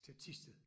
Til Thisted